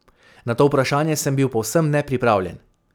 Na to vprašanje sem bil povsem nepripravljen.